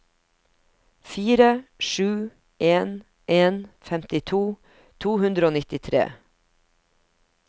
fire sju en en femtito to hundre og nittitre